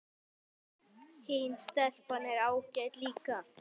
Hin stelpan er ágæt líka